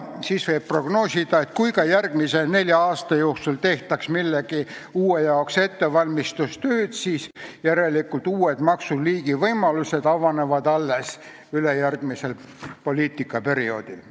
Võib prognoosida, et kui ka järgmise nelja aasta jooksul tehtaks millegi uue jaoks ettevalmistustöid, siis järelikult avanevad uue maksuliigi kehtestamise võimalused alles ülejärgmisel poliitikaperioodil.